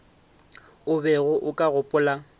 o bego o ka gopola